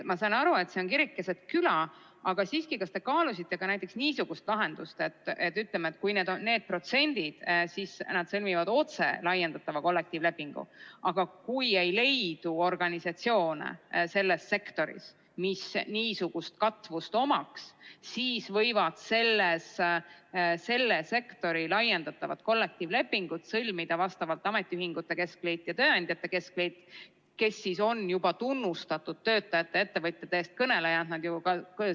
Ma saan aru, et see on kirik keset küla, aga siiski, kas te kaalusite ka näiteks niisugust lahendust, et kui need protsendid on täidetud, siis nad sõlmivad otse laiendatava kollektiivlepingu, aga kui sektoris ei leidu organisatsioone, mis niisugust katvust omaks, siis võivad selle sektori laiendatava kollektiivlepingu sõlmida vastavalt ametiühingute keskliit ja tööandjate keskliit, kes on juba tunnustatud töötajate ja ettevõtjate eest kõnelejad?